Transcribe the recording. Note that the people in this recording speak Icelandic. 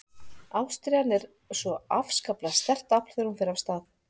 Ástríðan er svo afskaplega sterkt afl þegar hún fer af stað.